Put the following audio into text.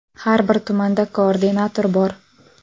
Har bir tumanda koordinator bor.